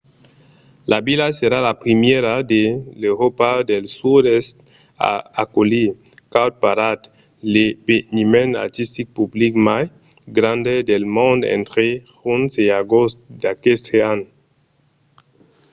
la vila serà la primièra de l'euròpa del sud-èst a aculhir cowparade l'eveniment artistic public mai grand del mond entre junh e agost d'aqueste an